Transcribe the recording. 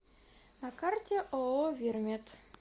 на карте ооо вирмед